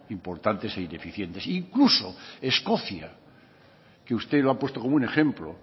importantes e ineficientes incluso escocia que usted lo ha puesto como un ejemplo